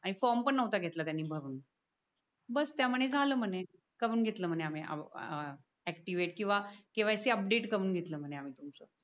आणि फोर्म पण नव्हता घेतला त्यांनी भरून बस त्या म्हणे झाल म्हणे करून घेतल म्हणे आम्ही आ याक्तिववेट किवा KYC अपडेट करून घेतले म्हणे आम्ही तुमच